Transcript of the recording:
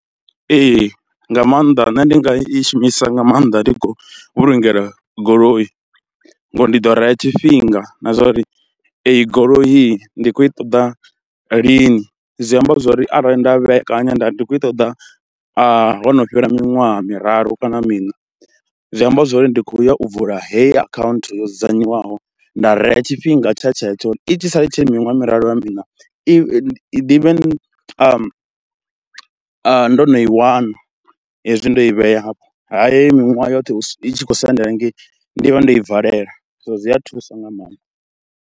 Ee nga maanḓa nṋe ndi nga i shumisa nga maanḓa ndi khou vhulungela goloi, ngori ndi ḓo rea tshifhinga na zwa uri eyi goloi ndi khou i ṱoḓa lini, zwi amba zwo ri arali nda vhekanya nda ndi khou i ṱoḓa ho no fhela miṅwaha miraru kana miṋa zwi amba zwouri ndi khou ya u vula heyi akhaunthu yo dzudzanywaho. Nda rea tshifhinga tsha tshetsho, i tshi sa i tshi ri miṅwaha miraru kana miṋa i i ḓivhe ndo no i wana hezwi ndo i vhea hafho. Ha heyi miṅwaha yoṱhe i tshi khou sendela hengei ndi vha ndo i valela so zwi a thusa nga maanḓa.